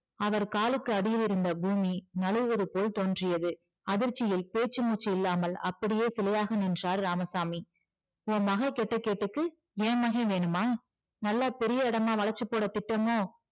அவர் காலுக்கு அடியில் இருந்த பூமி நழுவுவது போல் தோன்றியது அதிர்ச்சியில் பேச்சு மூச்சு இல்லாமல் அப்படியே சிலையாக நின்றார் இராமசாமி உன் மகள் கெட்டகேட்டுக்கு என் மகன் வேணுமா நல்லா பெரிய இடமா வளச்சு போட திட்டமோ